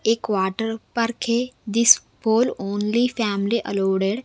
एक water park है this pool only family allowed --